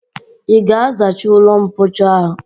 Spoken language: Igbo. I ga-azacha ụlọmpochi a ọcha